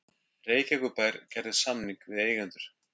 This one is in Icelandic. Reykjavíkurbær gerði samning við eigendur